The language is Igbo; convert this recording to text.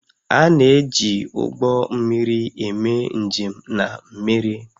A na-eji ụgbọ mmiri eme njem na mmiri